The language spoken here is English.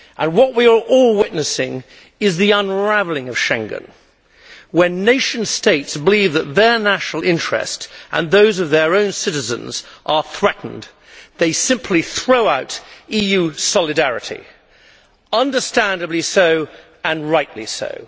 What we are all witnessing is the unravelling of Schengen. When nation states believe that their national interests and those of their own citizens are threatened, they simply throw out EU solidarity understandably so, and rightly so.